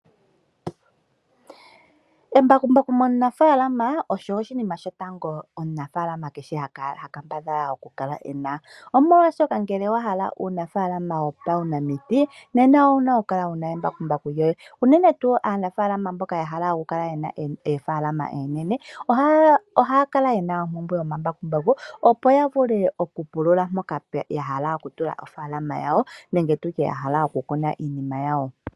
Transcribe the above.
Embakumbaku momunafalama osho oshinima shotango omunafaalama kehe ha kambadhala okukala ena omolwaashoka ngele wahala uunafalama wopaunamiti nena owuna kukala wuna embakumbaku lyoye unene tuu aanafalama mboka yahala okukala yena oofalama oonene, ohaya kala yena ompumbwe yomambakumbaku opo yavule okupulula mpoka yahala okutula ofalama yawo nenge tutye mpoka yahala okukuna iinima yawo.